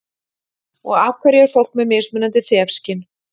Og af hverju er fólk með mismunandi þefskyn?